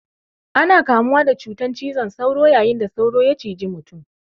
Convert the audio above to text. Ana kamuwa da cutan cizon sauro yayin da sauro ya ciji mutum.